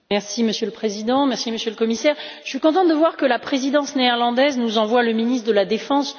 Monsieur le Président, Monsieur le Commissaire, je suis contente de voir que la présidence néerlandaise nous envoie le ministre de la défense.